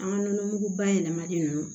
An ka nɔnɔmugu bayɛlɛmalen ninnu